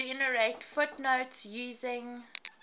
generate footnotes using